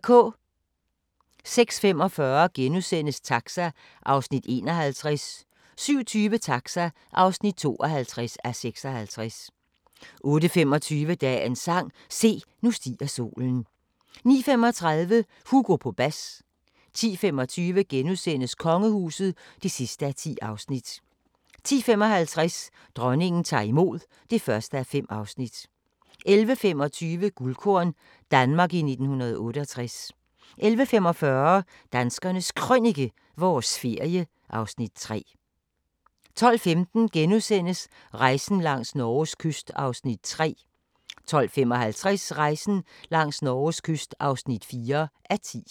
06:45: Taxa (51:56)* 07:20: Taxa (52:56) 08:25: Dagens sang: Se, nu stiger solen 09:35: Hugo på bas 10:25: Kongehuset (10:10)* 10:55: Dronningen tager imod (1:5) 11:25: Guldkorn – Danmark i 1968 11:45: Danskernes Krønike – vores ferie (Afs. 3) 12:15: Rejsen langs Norges kyst (3:10)* 12:55: Rejsen langs Norges kyst (4:10)